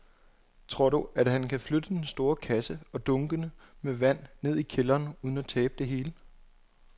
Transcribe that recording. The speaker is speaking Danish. Tror du, at han kan flytte den store kasse og dunkene med vand ned i kælderen uden at tabe det hele?